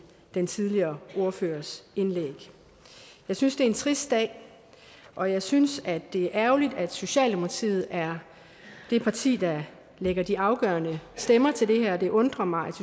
den tidligere ordførers indlæg jeg synes det er en trist dag og jeg synes at det er ærgerligt at socialdemokratiet er det parti der lægger de afgørende stemmer til det her det undrer mig at